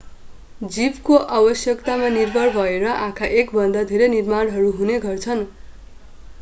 जीवको आवश्यकतामा निर्भर भएर आँखा एकभन्दा धेरै निर्माणहरू हुने गर्छन्